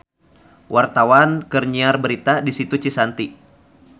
Wartawan keur nyiar berita di Situ Cisanti